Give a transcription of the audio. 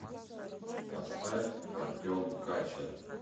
поставь артем качер